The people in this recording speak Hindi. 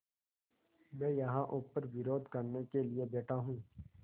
मैं यहाँ ऊपर विरोध करने के लिए बैठा हूँ